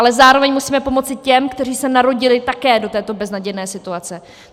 Ale zároveň musíme pomoci těm, kteří se narodili také do této beznadějné situace.